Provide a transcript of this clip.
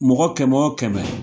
Mɔgɔ kɛmɛ o kɛmɛ